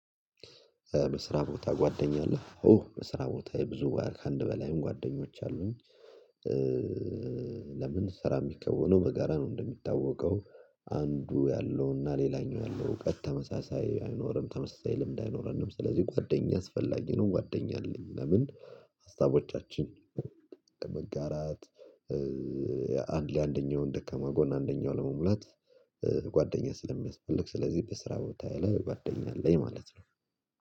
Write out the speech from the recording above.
በስራ ቦታ ጓደኛ አለህ? ኡ በስራ ቦታዬ ብዙ ከአንድ በላይም ጓደኞች አሉኝ። ለምን ስራ የሚከወነው በጋራ ነው እንደሚታወቀው። አንዱ ያለውና ሌላኛው ያለው እውቀት ተመሳሳይ አይኖርም፣ ተመሳሳይ ልምድ አይኖረንም ስለዚህ ጓደኛ አስፈላጊ ነው ጓደኛ አለኝ። ለምን? ሀሳቦቻችን ለመጋራት አንድ ለአንደኛውን ደከማ ጎን አንደኛው ለመሙላት፣ ጓደኛ ስለሚያስፈልግ ስለዚህ በስራ ቦታዬ ያለ ጓደኛ አለኝ ማለት ነው።